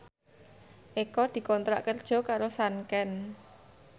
Eko dikontrak kerja karo Sanken